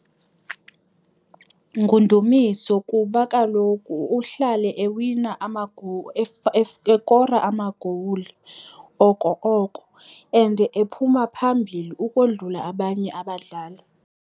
NguNdumiso kuba kaloku uhlala ewina amagowuli, ekora amagowuli okokoko and ephuma phambili ukodlula abanye abadlali.